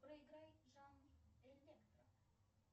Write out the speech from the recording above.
проиграй жанр электро